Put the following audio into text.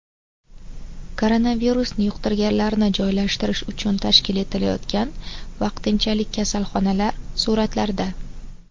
Koronavirusni yuqtirganlarni joylashtirish uchun tashkil etilayotgan vaqtinchalik kasalxonalar suratlarda.